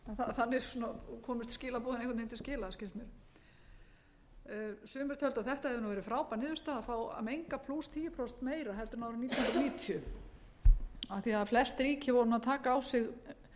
þannig svona komust skilaboðin einhvern veginn til skila skilst mér sumir töldu að þetta hefði nú verið frábær niðurstaða að fá að menga tíu prósentum meira heldur en árið nítján hundruð níutíu af því flest ríki voru nú að taka á sig